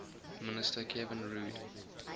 minister kevin rudd